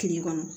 Kile kɔnɔ